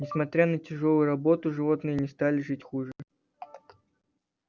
несмотря на тяжёлую работу животные не стали жить хуже